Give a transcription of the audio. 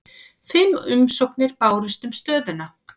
Fimm umsóknir bárust um stöðuna